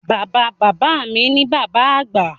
Bàbáa Bàbá mi ni Bàbá Àgbà